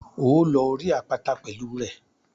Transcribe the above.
Óò lọ orí àpáta pẹ̀lú rẹ̀.